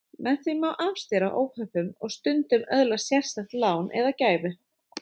Með því má stundum afstýra óhöppum og stundum öðlast sérstakt lán eða gæfu.